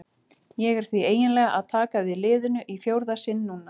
Ég er því eiginlega að taka við liðinu í fjórða sinn núna.